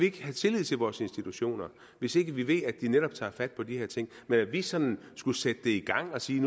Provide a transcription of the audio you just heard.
ikke have tillid til vores institutioner hvis ikke vi ved at de netop tager fat på de her ting men at vi sådan skulle sætte det i gang og sige